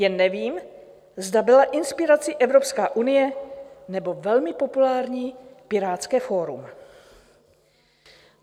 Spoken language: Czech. Jen nevím, zda byla inspirací Evropská unie, nebo velmi populární pirátské fórum.